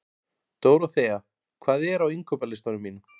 Dóróþea, hvað er á innkaupalistanum mínum?